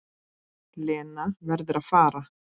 Lena verður að fara.